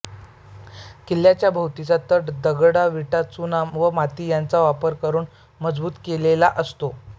किल्ल्याभोवतीचा तट दगडविटा चुना व माती यांचा वापर करून मजबूत केलेला असतो